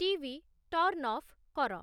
TV. Turn off କର